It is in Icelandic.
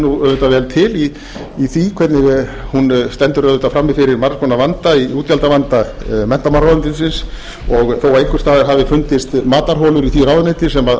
þekkir auðvitað vel til í því hvernig hún stendur auðvitað frammi fyrir margs konar vanda í útgjaldavanda menntamálaráðuneytisins og þó að einhvers staðar hafi fundist matarholur í því ráðuneyti sem